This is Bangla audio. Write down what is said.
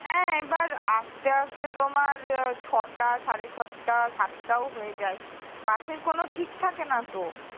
হ্যাঁ এবার আসতে আসতে তোমার ছয়টা সাড়ে ছয়টা সাতটাও হয়ে যায় bus এর কোনও ঠিক থাকে না তো